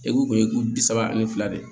Epi u bi saba ani fila de